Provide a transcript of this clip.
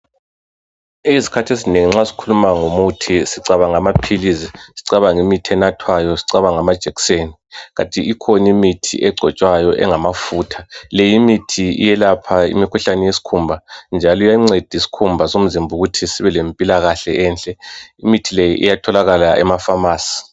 Ezikhathi ezinengi nxa sikhuluma ngomithi sicabanga amaphilisi sicabanga imithi enathwayo sicabange amajekiseni. Kanti ikhona imithi egcotshwayo engamafutha le imithi iyelapha imikhuhlane yesikhumba njalo iyanceda isikhumba somzimba ukuthi sibe lempilakahle enhle, imithi le iyatholakala emafamasi.